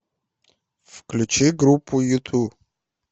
включи группу юту